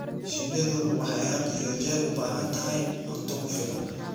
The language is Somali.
Shinnidu waxay had iyo jeer u baahan tahay cunto ku filan.